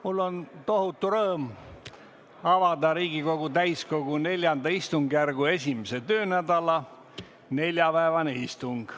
Mul on tohutu rõõm avada Riigikogu täiskogu IV istungjärgu 1. töönädala neljapäevane istung.